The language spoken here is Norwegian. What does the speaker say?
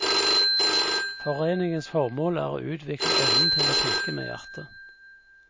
Foreningens formål er å utvikle evnen til å tenke med hjertet.